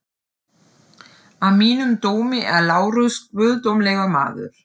Að mínum dómi er Lárus guðdómlegur maður.